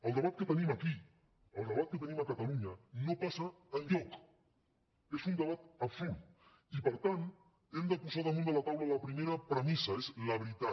el debat que tenim aquí el debat que tenim a catalunya no passa enlloc és un debat absurd i per tant hem de posar damunt de la taula la primera premissa és la veritat